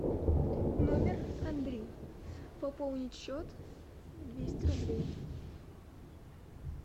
номер андрей пополнить счет двести рублей